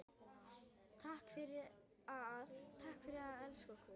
Takk fyrir að elska okkur.